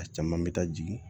A caman bɛ taa jigin